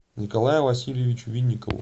николаю васильевичу винникову